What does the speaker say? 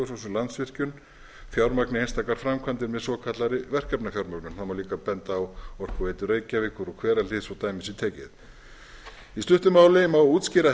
svo sem landsvirkjun fjármagni einstakar framkvæmdir með svokallaðri verkefnafjármögnun það má líka benda á orkuveitu reykjavíkur og hverahlíð svo dæmi sé tekið í stuttu máli má útskýra